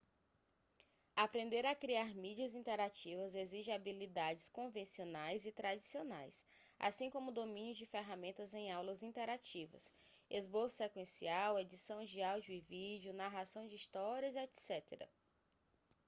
aprender a criar mídias interativas exige habilidades convencionais e tradicionais assim como o domínio de ferramentas em aulas interativas esboço sequencial edição de áudio e vídeo narração de histórias etc.